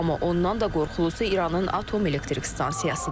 Amma ondan da qorxulusu İranın atom elektrik stansiyasıdır.